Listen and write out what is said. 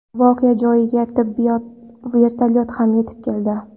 Voqea joyiga tibbiy vertolyot ham yetib keldi.